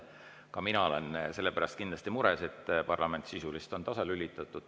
Ka mina olen kindlasti mures selle pärast, et parlament on sisuliselt tasalülitatud.